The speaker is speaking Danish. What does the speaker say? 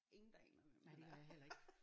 Ingen der aner hvem han er